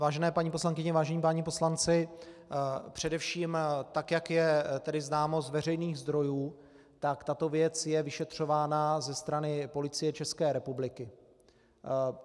Vážené paní poslankyně, vážení páni poslanci, především tak jak je tedy známo z veřejných zdrojů, tak tato věc je vyšetřována ze strany Policie České republiky.